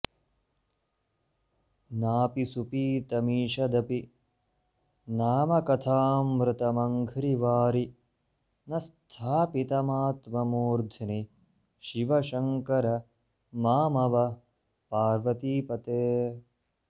नापि सुपीतमीषदपि नामकथामृतमङ्घ्रिवारि न स्थापितमात्ममूर्ध्नि शिव शङ्कर मामव पार्वतीपते